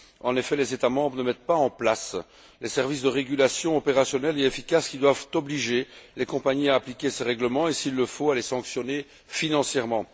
En effet, les États membres ne mettent pas en place les services de régulation opérationnels et efficaces qui doivent obliger les compagnies à appliquer ces règlements et, s'il le faut, les sanctionner financièrement.